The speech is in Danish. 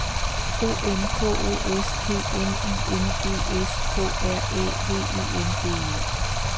O M K O S T N I N G S K R Æ V E N D E